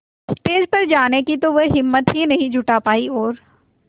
stage पर जाने की तो वह हिम्मत ही नहीं जुटा पाई और